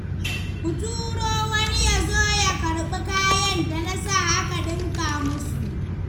Ka turo wani ya zo ya karɓi kayan da na sa aka ɗinka musu.